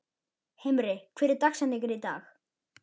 Himri, hver er dagsetningin í dag?